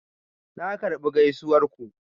Na karbi gaisuwar ku.